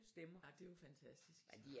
Ej det er jo fantastisk